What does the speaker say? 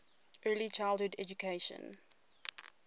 early childhood education